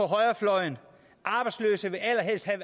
højrefløjen arbejdsløse vil allerhelst have